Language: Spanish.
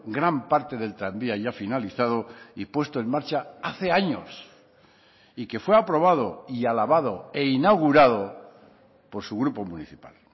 gran parte del tranvía ya finalizado y puesto en marcha hace años y que fue aprobado y alabado e inaugurado por su grupo municipal